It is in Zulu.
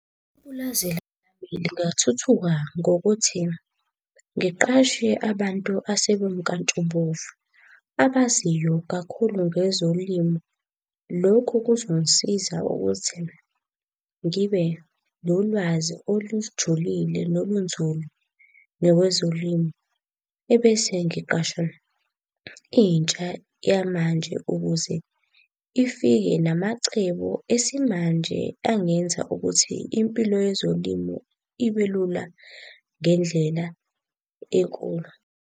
Ipulazi lingathuthuka ngokuthi ngiqashe abantu asebemnkantshubovu, abaziyo kakhulu ngezolimo. Lokhu kuzongisiza ukuthi ngibe nolwazi olujulile nolunzulu ngakwezolimo. Ebese ngiqasha intsha yamanje ukuze ifike namacebo esimanje angenza ukuthi impilo yezolimo ibelula ngendlela enkulu.